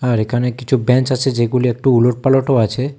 আর এখানে কিছু বেঞ্চ আছে যেগুলি একটু উলোটপালোটও আছে।